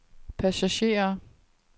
passagerer